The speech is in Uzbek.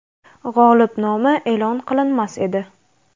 g‘olib nomi e’lon qilinmas edi.